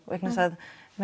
vegna þess að